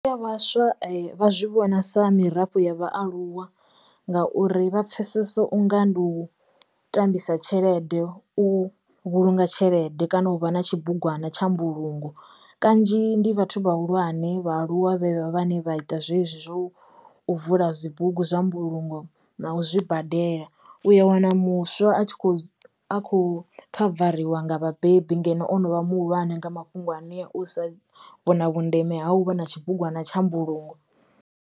Vhaswa vha zwi vhona sa mirafho ya vhaaluwa ngauri vha pfesese unga ndi u tambisa tshelede u vhulunga tshelede kana uvha na tshibugwana tsha mbulungo kanzhi ndi vhathu vhahulwane vha aluwa vhe vha vhane vha ita zwezwi zwo u vula dzibugu zwa mbulungo na u zwi badela u ya wana muswa a tshi kho a kho khavariwa nga vhabebi ngeno ono vha muhulwane nga mafhungo anea u sa vhona vhundeme ha uvha na tshibugwana tsha mbulungo.